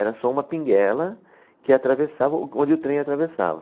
Era só uma pinguela que atravessava, o onde o trem atravessava.